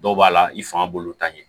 Dɔw b'a la i fanga b'olu ta ɲɛ